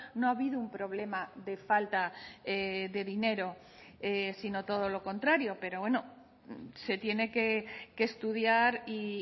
no ha habido un problema de falta de dinero sino todo lo contrario pero bueno se tiene que estudiar y